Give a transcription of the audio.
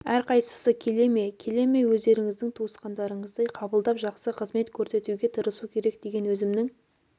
әрқайсысы келе ме келе ме өздеріңіздің туысқандарыңыздай қабылдап жақсы қызмет көрсетуге тырысу керек деген өзімнің